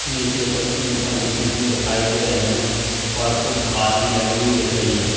नीचे कुछ ईंटे बिछी हुई दिखाई दे रही हैं और कुछ घास भी लगी हुई दिख रही है।